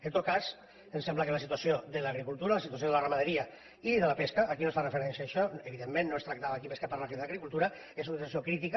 en tot cas em sembla que la situació de l’agricultura la situació de la ramaderia i de la pesca aquí no es fa referència a això evidentment no es tractava aquí més que parlar d’agricultura és una situació crítica